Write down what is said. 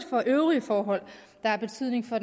for øvrige forhold der har betydning for